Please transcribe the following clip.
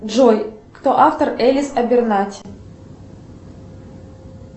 джой кто автор элис абернати